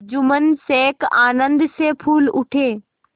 जुम्मन शेख आनंद से फूल उठे